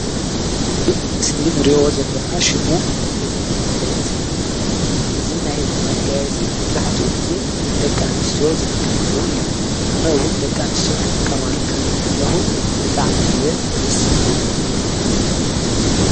እዚ ኣብ ምስሊ ንሪኦ ዘለና ሽሙ ናይ እዝኒ መጋየፂ ይብሃል። እዚ ናይ እዝኒ መጋየፂ መብዛሕቲኡ ግዜ ደቂ ኣንስትዮ ዝጥቀማሉ እዩ። ኣነ እውን ደቂኣንስትዮ ክትቀማሉ ክሪኢ ከለኹ ብጣዕሚ እየ ደስ ዝብለኒ።